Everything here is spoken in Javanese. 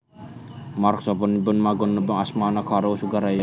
Mark sapunika sampun magépokan asmané karo Sugar Ray